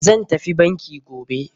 Zan tafi banki gobe.